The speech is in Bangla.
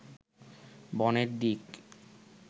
বনের দিক